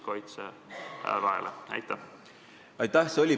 Aitäh!